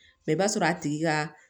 Mɛ i b'a sɔrɔ a tigi ka